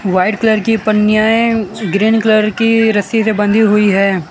White colour की पंनियाँ हैं। ग्रीन कलर की रस्सी से बंधी हुई है।